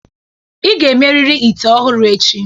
Ị ga-emerịrị ite ọhụrụ echi!